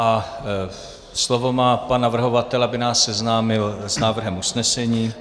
A slovo má pan navrhovatel, aby nás seznámil s návrhem usnesení.